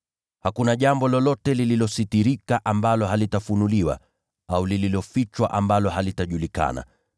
Hakuna jambo lolote lililositirika ambalo halitafunuliwa, au lililofichwa ambalo halitajulikana.